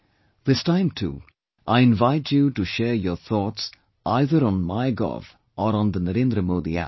This time too, I invite you to share your thoughts either on MyGov or on NarendraModiApp